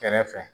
Kɛrɛfɛ